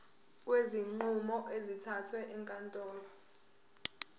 kwezinqumo ezithathwe ezinkantolo